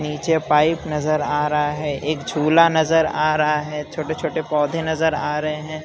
नीचे पाइप नजर आ रहा है एक झूला नजर आ रहा है छोटे छोटे पौधे नजर आ रहे हैं।